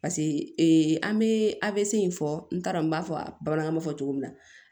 paseke ee an be a be se in fɔ n t'a dɔn n b'a fɔ bamanankan fɔ cogo min na